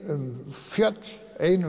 um fjöll ein um